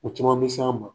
O caman bɛ s'an ma